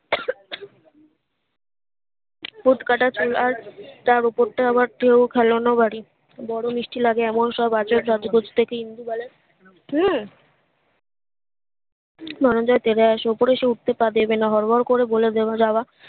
ঠোঁটকাটা চল আর তার ওপরটা আবার চু খেলানো বাড়ি বড় মিষ্টি লাগে এমন সব আচার সাজগোজ দেখে ইন্দুবালার হম মাঞ্জা তেড়ে আসে উপরে সে উঠে পা দেবে না হড়বড় করে বলে দেয়া যাবে